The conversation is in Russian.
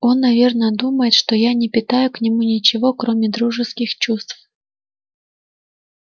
он наверно думает что я не питаю к нему ничего кроме дружеских чувств